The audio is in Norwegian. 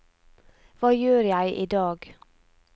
hva gjør jeg idag